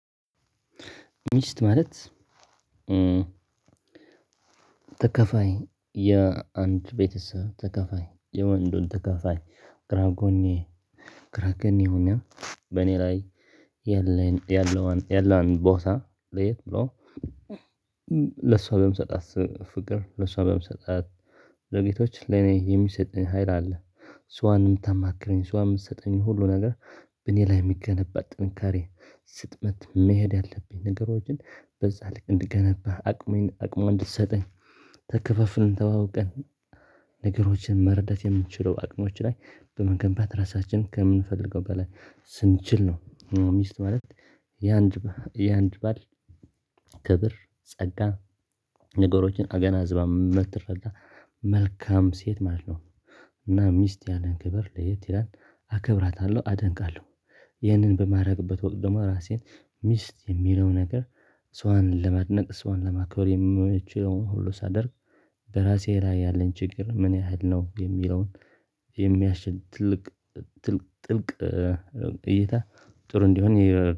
ሚስት ማለት ተካፋይ የአንድ ቤተሰብ ተካፋይ የወንዱን ተካፋይ ግራጎኔ ግራጎኔ ሆና በእኔ ላይ ያለን ያለውን ያለውን ቦታ ለየት ብሎ ለሷ በምሰጣት ፍቅር ለሷ በምሰጣት ዘጌቶች ለኔ የሚሰጠኝ ሀይል አለ። እሷን ምታማክረኝ ሷንም ምሰጠኝ ሁሉ ነገር በእኔ ላይ ሚገነባ ጥንካሬ ስጥመት መሄድ ያለብኝ ነገሮችን በዛ ልክ እንድገነባ አቅሜን አቅሙን እንድትሰጠኝ ተከፋፍልን ተዋውቀን ነገሮችን መረዳት የምንችለው አቅሞች ላይ በመገንባት ራሳችንን ከምንፈልገው በላይ ስንችል ነው። ሚስት ማለት የአንድ የአንድ ባል ክብር ጸጋ ነገሮችን አገናዝባ ምትረዳ መልካም ሴት ማለት ነው። እና ሚስት ያለን ክብር ለየት ይላል አከብራታለሁ አደንቃለሁ። ይህንን በማድረግበት ወቅት ደግሞ ራሴን ሚስት የሚለው ነገር እሷን ለማድነቅ እሷን ለማክበር የሚመችውን ሁሉ ሳደርግ። በራሴ ላይ ያለን ችግር ምን ያህል ነው የሚለውን የሚያሽል ትልቅ ጥልቅ እይታ ጥሩ እንዲሆን